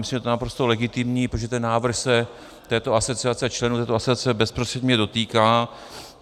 Myslím, že je to naprosto legitimní, protože ten návrh se této asociace, členů této asociace, bezprostředně dotýká.